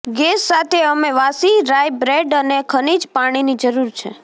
gas સાથે અમે વાસી રાઈ બ્રેડ અને ખનિજ પાણીની જરૂર છે